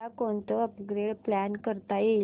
उद्या कोणतं upgrade plan करता येईल